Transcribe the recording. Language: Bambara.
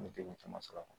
N bɛ degun caman sɔrɔ a kɔnɔ